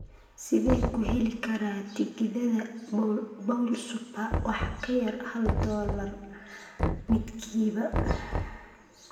sidee ku heli karaa tigidhada bowl super wax ka yar hal dollar midkiiba